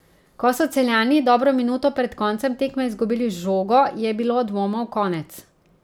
Ko so Celjani dobro minuto pred koncem tekme izgubili žogo, je bilo dvomov konec.